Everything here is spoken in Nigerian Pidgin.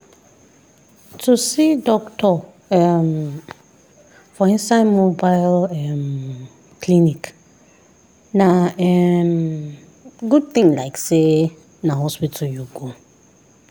to see doctor um for inside mobile um clinic na um good thing like say na hospital you go.